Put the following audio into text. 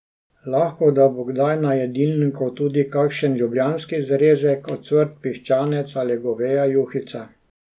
Lahko da bo kdaj na jedilniku tudi kakšen ljubljanski zrezek, ocvrt piščanec ali goveja juhica ...